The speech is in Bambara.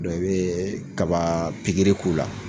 i bɛ kaba pikiri k'u la.